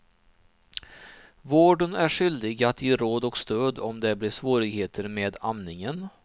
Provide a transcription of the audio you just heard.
Vården är skyldig att ge råd och stöd om det blir svårigheter med amningen.